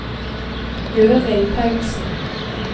Gøril Paulsen